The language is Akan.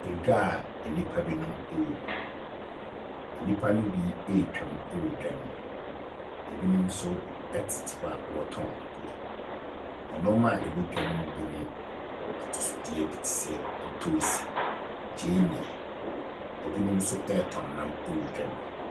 Edwa a nnipa binom wɔ mu. Nnipa no bi retwam wɔ dwa no mu. Ebinom tete hɔ a wɔretɔn adeɛ. Nneɛma a ɛwɔ dwa no bi ne atosodeɛ bi te sɛ te sɛ ntoosi, gyeene. Ebinom nso retɔn nam wɔ dwa no mu.